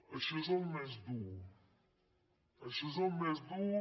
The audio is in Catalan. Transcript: això és el més dur això és el més dur